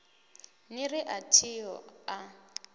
ni ri a thiho a